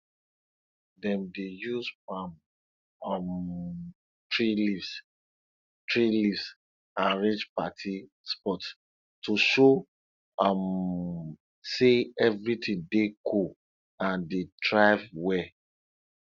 dem dey use palm um tree leaves tree leaves arrange party spot to show um say everything dey cool and dey thrive well